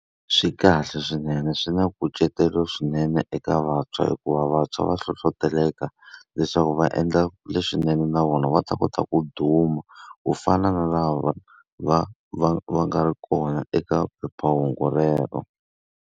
Swi kahle swinene swi na nkucetelo swinene eka vantshwa hikuva vantshwa va hlohleteleka, leswaku va endla leswinene na vona va ta kota ku duma ku fana na lava va va va nga ri kona eka phephahungu rero.